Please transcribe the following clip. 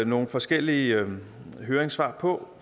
nogle forskellige høringssvar på